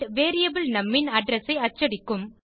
variable நும் ன் address ஐ அச்சடிக்கும்